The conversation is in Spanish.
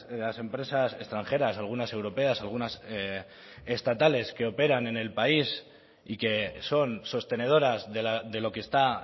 las empresas extranjeras algunas europeas algunas estatales que operan en el país y que son sostenedoras de lo que está